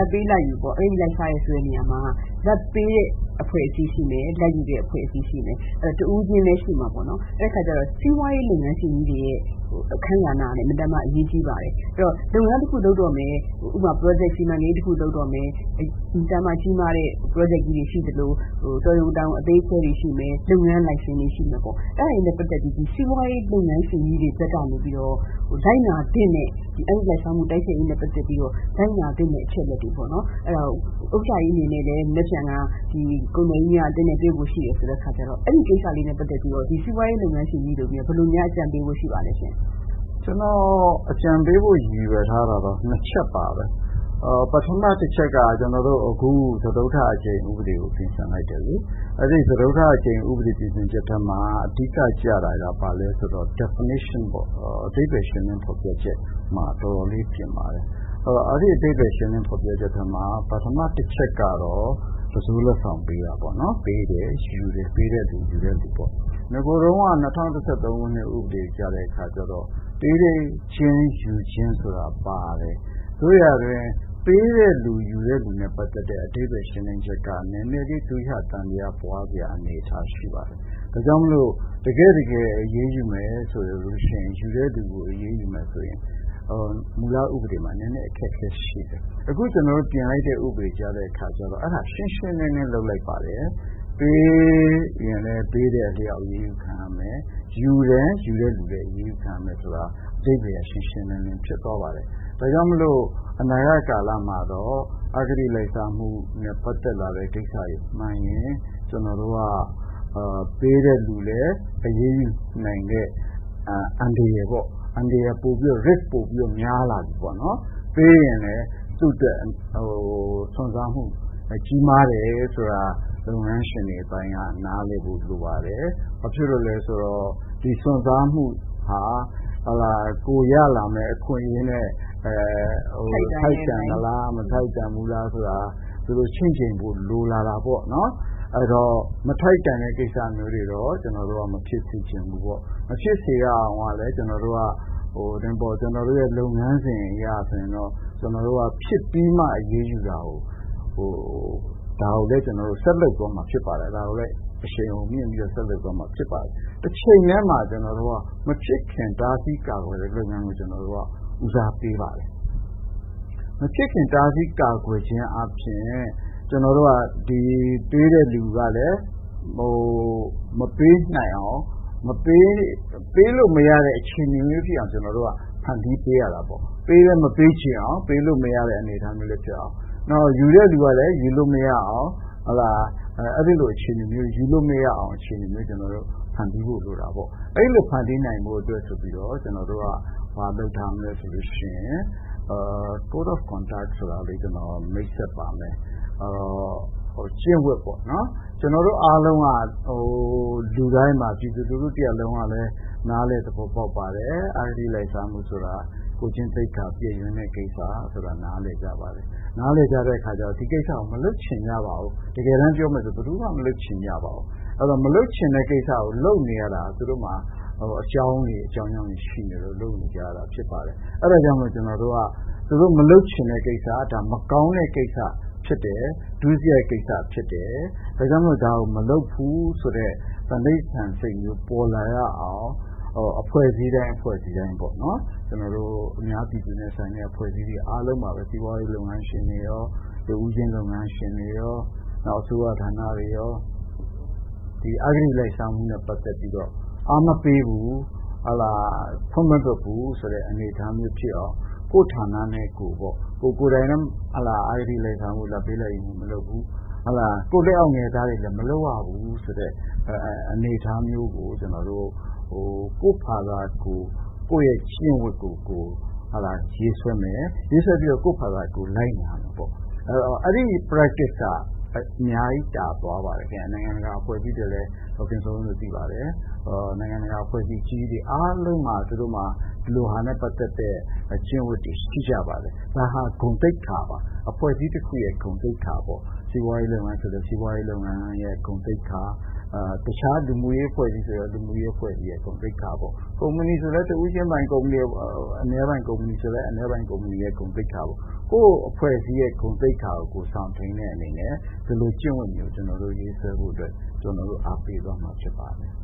ဘ်ပေးလာဘ်ယူပေါ့ အဂတိလိုက်စားတယ်ဆိုတဲ့နေရာမှာ လာဘ်ပေးတဲ့အဖွဲ့အစည်းရှိမယ်၊ လာဘ်ယူတဲ့အဖွဲ့အစည်းရှိမယ်၊ တဦးချင်းလည်းရှိမှာပေါ့နော် ။ စီးပွားရေးလုပ်ငန်းရှင်ကြီးတွေရဲ့ အခန်းကဏ္ဍကလည်း အရေးကြီးပါတယ်။ အဲဒီတော့ လုပ်ငန်းတခုလုပ်တော့မယ် ဥပမာ စီမံကိန်းတခုလုပ်တော့မယ် ၊ အင်မတန်မှ ကြီးမားတဲ့ Project ကြီးတွေရှိသလို တော်ရုံတန်ရုံအသေးအဖွဲတွေရှိမယ်။ လုပ်ငန်းလိုင်စင်တွေရှိမယ်ပေါ့နော် အဲဒါတွေနဲ့ ပတ်သက်ပြီး စီးပွားရေးလုပ်ငန်းရှိကြီးတွေကနေပြီးတော့ အဂတိလိုက်စားမှုတိုက်ဖျက်ရေးနဲ့ ပတ်သက်ပြီး လိုက်နာသင့်တဲ့အချက်အလက်တွေပေါ့နော်။ ဥက္ကဌ ကြီးအနေနဲ့လည်း မနက်ဖြန် ကုန်သည်ကြီးများအသင်းနဲ့ တွေ့ဖို့ရှိတယ် ဆိုတဲ့အခါကျတော့ အဲဒီကိစ္စနဲ့ ပတ်သက်ပြီးတော့ စီးပွားရေးလုပ်ငန်းရှင်ကြီးတွေကို ဘယ်လိုများအကြံပေးဖို့ရှိပါသလဲရှင့်။ ဦးအောင်ကြည်။ ။ ကျနော်အကြံပေးဖို့ ရည်ရွယ်ထားတာကတော့ ၂ ချက်ပါပဲ ။ ပထမတချက်က ကျနော်တို့ အခုစတုတ္ထအကြိမ်ဥပဒေကို ပြင်ဆင်လိုက်တယ်လေ အဲဒီ စတုတ္ထအကြိမ်ဥပဒေပြင်ဆင်ချက်ထဲမှာ အဓိက ကျတာက ဘာလဲဆိုတော့ Defination ပေါ့ အဓိပ္ပါယ်ရှင်းလင်း ဖော်ပြချက်မှာ တော်တော်လေး ပြင်ပါတယ်။ အဲဒီ အဓိပ္ပါယ်ရှင်းလင်း ဖော်ပြချက်ထဲမှာ ပထမတချက်ကတော့ တံစိုးလက်ဆောင်ပေးတာပေါ့နော် ၊ ပေးတဲ့လူ ယူတဲ့လူ ပေါ့ ။ နဂိုတုန်းက ၂၀၁၃ တုန်းက ဥပဒေကတော့ ပေးခြင်းယူခြင်း ဆိုတာပါတယ်။ သို့ရာတွင် ပေးတဲ့လူ ယူတဲ့လူ နဲ့ ပတ်သက်တဲ့ အဓိပ္ပါယ်ရှင်းလင်းချက်က နည်းနည်းလေး ဒွိဟ သံသယပွားစရာအနေအထားလေးရှိပါတယ်။ ဒါကြောင့် တကယ့် တကယ် အရေးယူမယ်ဆိုရင် ယူတဲ့လူကို အရေးယူမယ်ဆိုရင် မူလဥပဒေမှာ အခက်အခဲရှိတယ်။ အခုကျနော်တို့ ပြင်လိုက်တဲ့ ဥပဒေမှာတော့ အဲဒါရှင်းရှင်းလင်းလင်းလုပ်လိုက်ပါတယ်။ ပေးရင်လည်း ပေးတဲ့အလျောက်အရေးယူခံရမယ်၊ ယူတယ်ဆိုရင်လည်း ယူတဲ့အလျောက်အရေးယူခံရမယ်ဆိုတာ အဓိပ္ပါယ်က ရှင်းရှင်းလင်းလင်းဖြစ်သွားပါတယ်။ ဒါကြောင့် အနာဂတ်ကာလမှာတော့ အဂတိလိုက်စားမှု နဲ့ ပတ်သက်လာတဲ့ ကိစ္စမှန်ရင် ကျနော်တို့က ပေးတဲ့လူလည်း အရေးယူနိုင်တဲ့ အန္တရာယ်ပေါ့ ၊ Risk ပိုပြီးတော့ များလာတယ်ပေါ့နော် ။ ပေးရင်လည်း သူ့အတွက် စွန့်စားမှု ကြီးမားတယ်ဆိုတာ လုပ်ငန်းရှင်တွေအပိုင်းက နားလည်ဖို့ လိုပါတယ်။ ဘာဖြစ်လို့လဲဆိုတော့ ဒီစွန့်စားမှုဟာ ကိုယ်ရလာမယ့် အခွင့်အရေးနဲ့ ထိုက်တန်မလား ဆိုတာ သူတို့ ချင့်ချိန်ဖို့တော့ လိုလာတာပေါ့နော်။ အဲဒီတော့ မထိုက်တန်တဲ့ကိစ္စမျိုးတွေတော့ ကျနော်တို့ကတော့ မဖြစ်စေချင်ဘူးပေါ့။ မဖြစ်စေရအောင်လည်း လုပ်ငန်းစဉ်အရဆိုရင်တော့ ကျနော်တို့ကဖြစ်ပြီးမှ အရေးယူတာကို ဒါကိုလည်း အရှိန်အဟုန်မြင့်ပြီး ဆက်လုပ်သွားမှာဖြစ်ပါတယ်။ တချိန်တည်းမှာ ကျနော်တို့က မဖြစ်ခင်တားဆီးကာကွယ်တဲ့လုပ်ငန်းကို ကျနော်တို့က ဦးစားပေးပါတယ်။ မဖြစ်ခင်တားဆီးကာကွယ်ခြင်းအားဖြင့် ကျနော်တို့က ပေးတဲ့လူကလည်း မပေးနိုင်အောင် ပေးလို့မရတဲ့ အခြေအနေမျိုးဖြစ်အောင် ကျနော်တို့ ဖန်တီးပေးရတာပေါ့။ ပေးလည်းမပေးချင်အောင် ပေးလို့မရတဲ့ အခြေအနေမျိုးဖြစ်အောင်။ ယူတဲ့လူကလည်း ယူလို့မရအောင် အခြေအနေမျိုးဖြစ်အောင် ကျနော်တို့ ဖန်တီးဖို့လိုတာပေါ့။ အဲဒီလိုဖန်တီးနိုင်အောင် ကျနော်တို့က code of conduct ဆိုတာ ကျနော်မိတ်ဆက်ပါမယ်။ ကျင့်ဝတ်ပေါ့နော် ကျနော်တို့အားလုံးက လူတိုင်းပါ ပြည်သူတရပ်လုံးကလည်း နားလည်သဘောပေါက်ပါတယ် အဂတိလိုက်စားမှုဆိုတာ ကိုယ်ကျင့်သိက္ခာပျက်ယွင်းတဲ့ကိစ္စ ဆိုတာကို နားလည်ကြပါတယ်။ နားလည်ကြတဲ့အခါတော့ ဒီဟာကို မလုပ်ချင်ပါဘူး။ တကယ်တမ်းပြောမယ်ဆိုရင် ဘယ်သူမှ မလုပ်ချင်ပါဘူး။ ဒီဟာကို လုပ်နေရတဲ့ သူတို့မှာ အကြောင်းတွေ ရှိနေလို့ လုပ်နေရတာဖြစ်ပါတယ်။ အဲဒါကြောင့် ကျနော်တို့က သူတို့မလုပ်ချင်တဲ့ကိစ္စ မကောင်းတဲ့ကိစ္စဖြစ်တယ်။ ဒုစရိုက် ကိစ္စဖြစ်တယ် ဒါကြောင့် ဒါကို မလုပ်ဘူးဆိုတဲ့ စိတ်မျိုးပေါ်လာရအောင် အဖွဲ့အစည်းတိုင်းပေါ့နော် ၊ ကျနော်တို့ အများပြည်သူနဲ့ ဆိုင်တဲ့ အဖွဲ့အစည်းတွေအားလုံးပေါ့နော် စီးပွားရေးလုပ်ငန်းရှင်တွေရော တဦးချင်းရော အစိုးရဌာနတွေရော အဂတိလိုက်စားမှုနဲ့ ပတ်သက်ပြီးတော့ အားမပေးဘူး ၊ ခွင့်မလွှတ်ဘူးဆိုတဲ့ အနေအထာမျိုးဖြစ်အောင် ကိုယ့်ဌာနနဲ့ ကိုယ်ပေါ့ ၊ ကိုယ်တိုင်လည်း အဂတိလိုက်စားမှု၊ လာဘ်ပေးလာဘ်ယူမလုပ်ဘူး ၊ နောက်ပြီး လက်အောက်ငယ်သားတွေလည်းမလုပ်ရဘူးဆိုတဲ့ အနေအထားမျိုး ၊ ကိုယ့်ကျင့်ဝတ်ကို ရေးဆွဲမယ် ၊ ပြီးတော့ လိုက်နာမယ်ပေါ့ အဲဒီ Practice က အများကြီး သာသွားပါတယ်ခင်ဗျ။ နိုင်ငံတကာအဖွဲ့အစည်းတွေအားလုံးမှာ ဒီလိုဟာနဲ့ ပတ်သက်တဲ့ ကျင့်ဝတ်တွေရှိပါတယ်။ ဒါဟာ ဂုဏ်သိက္ခာပါ အဖွဲ့အစည်းတခုရဲ့ ဂုဏ်သိက္ခာပေါ့ စီးပွားရေးလုပ်ငန်းဆိုရင်လည်း စီးပွားရေးလုပ်ငန်းဂုဏ်သိက္ခာ တခြားလူမှုရေးအဖွဲ့အစည်းဆိုရင်လည်း လူမှုရေးအဖွဲ့အစည်းဂုဏ်သိက္ခာ ပေါ့ ကုမ္ပဏီဆိုရင်လည်း တဦးချင်းပိုင် ကုမ္ပဏီဂုဏ်သိက္ခာ ပေါ့ ။ ကိုယ့် အဖွဲ့အစည်းဂုဏ်သိက္ခာကိုစောင့်ထိန်းတဲ့အနေနဲ့ ဒီလိုကျင့်ဝတ်မျိုးကို ရေးဖို့ အားပေးသွားမှာဖြစ်ပါတယ်